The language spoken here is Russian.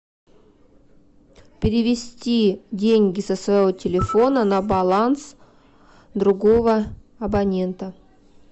перевести деньги со своего телефона на баланс другого абонента